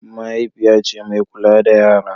mahaifiya ce mai kula da yara